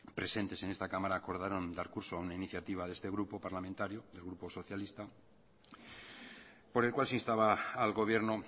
presentes en esta cámara acordaron dar curso a una iniciativa de este grupo parlamentario el grupo socialista por el cual se instaba al gobierno